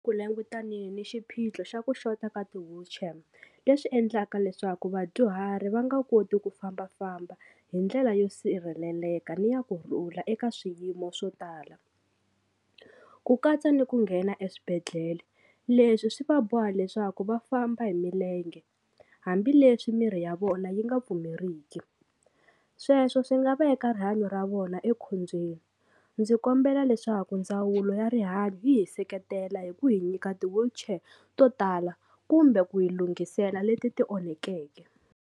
Ku langutaneke ni xiphiqo xa ku xota ka ti-wheelchair leswi endlaka leswaku vadyuhari va nga koti ku fambafamba hi ndlela yo sirheleleka ni ya kurhula eka swiyimo swo tala ku katsa ni ku nghena eswibedhlele leswi swi va boha leswaku va famba hi milenge hambileswi miri ya vona yi nga pfumeriki, sweswo swi nga veka rihanyo ra vona ekhombyeni ndzi kombela leswaku ndzawulo ya rihanyo yi hi seketela hi ku hi nyika ti-wheelchair to tala kumbe ku hi lunghisela leti ti onhekeke.